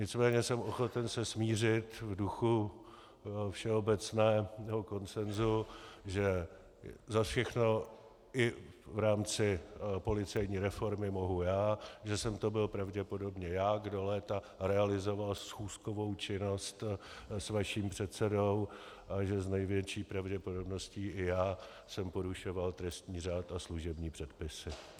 Nicméně jsem ochoten se smířit v duchu všeobecného konsenzu, že za všechno, i v rámci policejní reformy, mohu já, že jsem to byl pravděpodobně já, kdo léta realizoval schůzkovou činnost s vaším předsedou a že s největší pravděpodobností i já jsem porušoval trestní řád a služební předpisy.